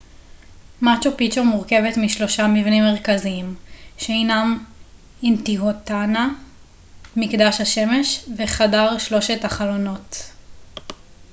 מאצ'ו פיצ'ו מורכבת משלושה מבנים מרכזיים שהינם אינטיהואטאנה מקדש השמש וחדר שלושת החלונות